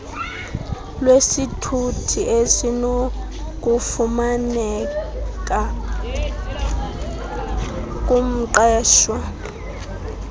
lwesithuthi esinokufumaneka kumqeshwa